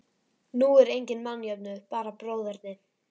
Nú er enginn mannjöfnuður, bara bróðerni.